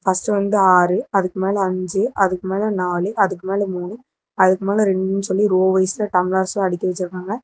First வந்து ஆறு அதுக்கு மேல அஞ்சி அதுக்கு மேல நாலு அதுக்கு மேல மூணு அதுக்கு மேல ரெண்டுனு சொல்லி ரோ வைஸ்ல டம்ளர்ஸ்ஸும் அடுக்கி வெச்சிருக்காங்க.